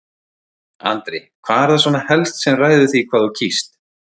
Andri: Hvað er það svona helst sem ræður því hvað þú kýst?